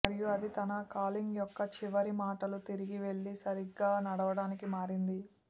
మరియు అది తన కాలింగ్ యొక్క చివరి మాటలు తిరిగి వెళ్ళి సరిగ్గా నడవడానికి మారింది